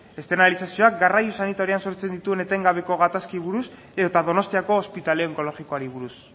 externalizazioak garraio sanitarioan sortzen dituen etengabeko gatazkei buruz edota donostiako ospitale onkologikoari buruz